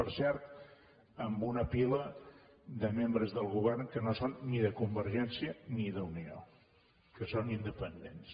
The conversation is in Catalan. per cert amb una pila de membres del govern que no són ni de convergència ni d’unió que són independents